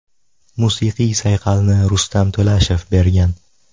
Musiqiy sayqalni Rustam To‘lashev bergan.